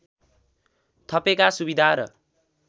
थपेका सुविधा र